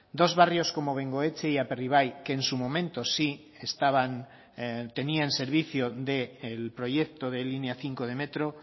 dos barrios como bengoetxe y aperribai que en su momento sí estaban tenían servicio del proyecto de línea cinco de metro